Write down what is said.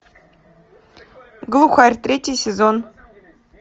глухарь третий сезон